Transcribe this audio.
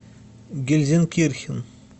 гельзенкирхен